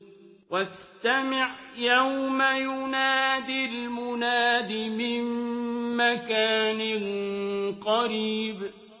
وَاسْتَمِعْ يَوْمَ يُنَادِ الْمُنَادِ مِن مَّكَانٍ قَرِيبٍ